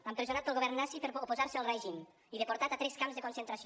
empresonat pel govern nazi per oposar se al règim i deportat a tres camps de concentració